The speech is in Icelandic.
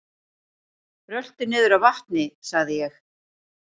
Rölti niður að vatni sagði ég.